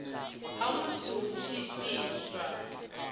ha musi hu tshi itwa